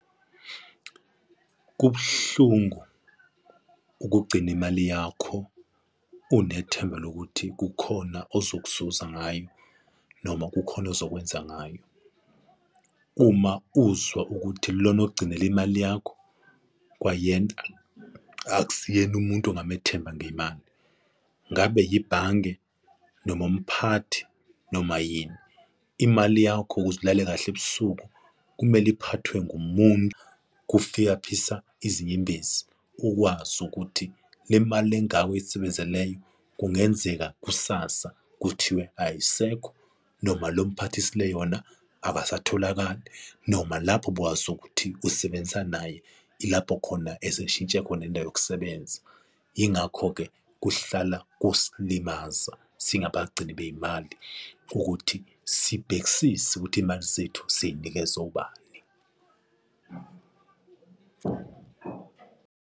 Kubuhlungu ukugcina imali yakho unethemba lokuthi kukhona ozokuzuza ngayo noma kukhona ozokwenza ngayo. Uma uzwa ukuthi lona ogcinile imali yakho kwayena akusiyena umuntu ongamethemba ngemali. Ngabe yibhange noma umphathi noma yini, imali yakho ukuze alale kahle ebusuku kumele iphathwe ngumuntu, kufiyaphisa izinyembezi ukwazi ukuthi le mali le engaka oyisebenzeleyo kungenzeka kusasa kuthiwe ayisekho noma lo mphathisile yona akasatholakali noma lapho bowazi ukuthi usebenzisa naye ilapho khona eseshintshe khona indawo yokusebenza. Yingakho-ke kuhlala kusilimaza singabagcini bey'mali ukuthi sibhekisise ukuthi iy'mali zethu siy'nikeza obani.